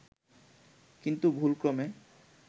কিন্তু ভুলক্রমে